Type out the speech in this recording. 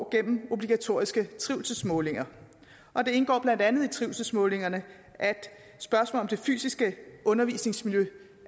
gennem obligatoriske trivselsmålinger og det indgår blandt andet i trivselsmålingerne at spørgsmål om det fysiske undervisningsmiljø